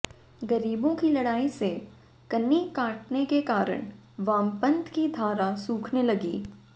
ग़रीबों की लड़ाई से कन्नी काटने के कारण वामपंथ की धारा सूखने लगी